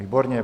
Výborně.